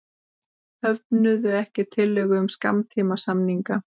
Höfnuðu ekki tillögu um skammtímasamning